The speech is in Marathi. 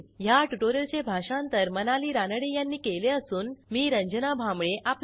ह्या ट्युटोरियलचे भाषांतर मनाली रानडे यांनी केले असून मी आपला निरोप घेते160